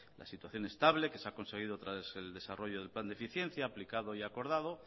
la situación estable que se ha conseguido tras el desarrollo del plan de eficiencia aplicado y acordado